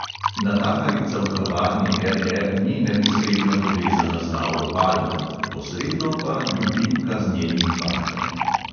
Natakarica v kavarni RR ni neposredno povezana z lauro palmer, posredno pa ljubimka z njenim fantom.